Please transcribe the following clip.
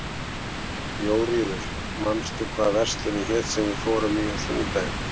Jóríður, manstu hvað verslunin hét sem við fórum í á sunnudaginn?